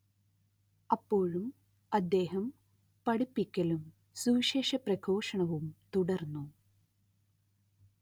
അപ്പോഴും അദ്ദേഹം പഠിപ്പിക്കലും സുവിശേഷ പ്രഘോഷണവും തുടർന്നു